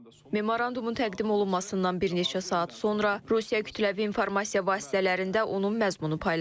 Memorandumun təqdim olunmasından bir neçə saat sonra Rusiya kütləvi informasiya vasitələrində onun məzmunu paylaşılıb.